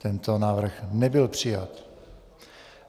Tento návrh nebyl přijat.